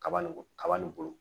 Kaba nin kaba nin bolo